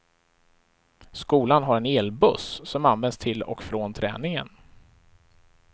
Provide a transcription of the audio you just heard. Skolan har en elbuss som används till och från träningen.